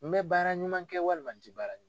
N bɛ baara ɲuman kɛ walima n tɛ baara ɲuman kɛ.